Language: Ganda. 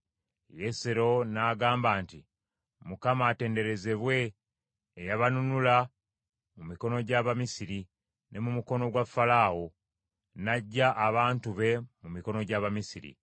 Yesero n’agamba nti, “ Mukama atenderezebwe eyabanunula mu mikono gy’Abamisiri ne mu mukono gwa Falaawo, n’aggya abantu be mu mikono gy’Abamisiri.